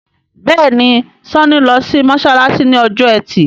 Béèni Sanni ló sì masalasi ní Ọjọ́ Ẹti.